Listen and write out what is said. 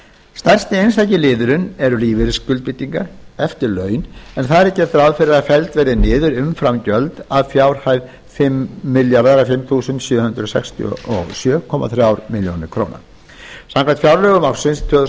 stærsti einstaki liðurinn er núll níu til þrjú hundruð áttatíu og eitt lífeyrisskuldbindingar eftirlaun en þar er gert ráð fyrir að felld verði niður umframgjöld að fjárhæð fimm þúsund sjö hundruð sextíu og sjö komma þremur milljónum króna samkvæmt fjárlögum ársins tvö þúsund og